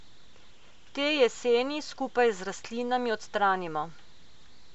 Te jeseni skupaj z rastlinami odstranimo.